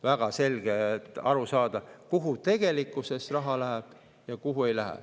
Väga selgelt on aru saada, kuhu tegelikkuses raha läheb ja kuhu ei lähe.